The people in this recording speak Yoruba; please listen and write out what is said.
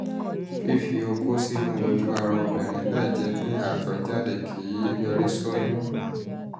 fífi okó sínú sínú ojú ara obìnrin láìjẹ́ pé àtọ̀ jáde kì um í yọrí sí oyún